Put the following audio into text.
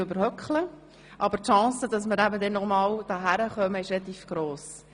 Aber die Wahrscheinlichkeit, dass wir uns danach nochmal sehen werden, ist recht gross.